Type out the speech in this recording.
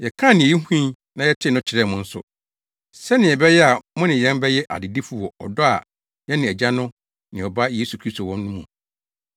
Yɛkaa nea yehui na yɛtee no kyerɛɛ mo nso, sɛnea ɛbɛyɛ a mo ne yɛn bɛyɛ adedifo wɔ ɔdɔ a yɛne Agya no ne Ɔba Yesu Kristo wɔ no mu.